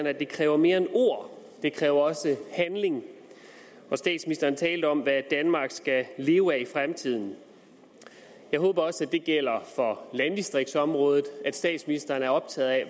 at det kræver mere end ord det kræver også handling og statsministeren talte om hvad danmark skal leve af i fremtiden jeg håber også at det gælder for landdistriktsområdet at statsministeren er optaget af